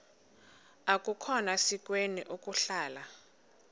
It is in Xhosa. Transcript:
akukhona sikweni ukuhlala